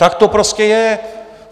Tak to prostě je.